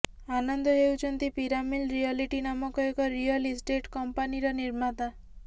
ଆନନ୍ଦ ହେଉଛନ୍ତି ପିରାମିଲ୍ ରିୟଲିଟି ନାମକ ଏକ ରିଅଲ୍ ଇଷ୍ଟେଟ୍ କମ୍ପାନିର ନିର୍ମାତା